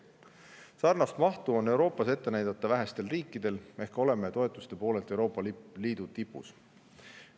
Sarnast mahtu on Euroopas ette näidata vähestel riikidel, oleme toetuste poolest Euroopa Liidu riikide seas tipus.